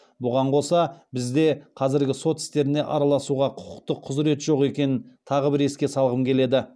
бұған қоса бізде қазіргі сот істеріне араласауға құқықтық құзірет жоқ екенін тағы бір еске салғым келеді